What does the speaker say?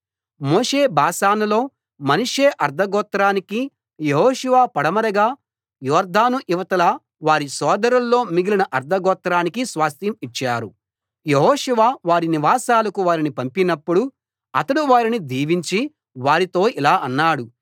మోషే బాషానులో మనష్షే అర్థగోత్రానికీ యెహోషువ పడమరగా యొర్దాను ఇవతల వారి సోదరుల్లో మిగిలిన అర్థగోత్రానికీ స్వాస్థ్యం ఇచ్చారు యెహోషువ వారి నివాసాలకు వారిని పంపినప్పుడు అతడు వారిని దీవించి వారితో ఇలా అన్నాడు